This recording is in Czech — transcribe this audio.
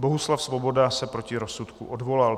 Bohuslav Svoboda se proti rozsudku odvolal.